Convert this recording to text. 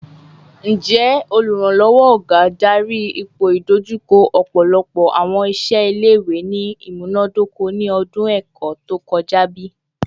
Njẹ Oluranlọwọ Oluranlọwọ / oga ipoidojuko ọpọlọpọ awọn iṣẹ ile-iwe ni imunadoko ni ọdun ẹkọ to kọja bi?